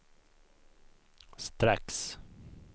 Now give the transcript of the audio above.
strax